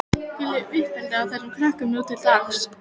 Hvílíkt uppeldi á þessum krökkum nú til dags!